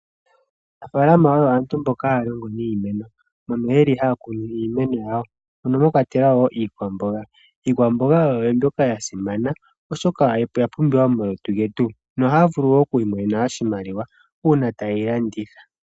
Aanafala oyo aantu mboka haya longo niimeno mbono yeli haya kunu iimeno yawo mono mwakwatelwa iikwamboga. Iikwamboga oyo mbyoka yasimana oshoka oya pumbiwa momalutu getu nohaya vulu wo oku imonena oshimaliwa una taye yi landitha.